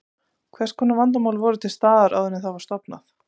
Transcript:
Hvers konar vandamál voru til staðar áður en það var stofnað?